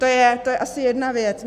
To je asi jedna věc.